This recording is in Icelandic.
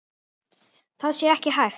Það sé ekki hægt.